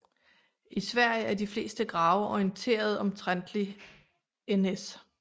I Sverige er de fleste grave orienteret omtrentligt NS